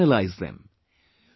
analyse them ...